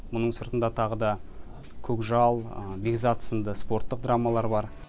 мұның сыртында тағы да көкжал бекзат сынды спорттық драмалар бар